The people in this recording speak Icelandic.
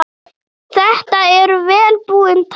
Þetta eru vel búin tæki.